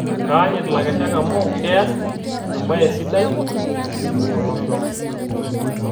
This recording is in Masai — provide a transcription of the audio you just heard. Keanyit lakeshak ame keas e mbae sidai tolosho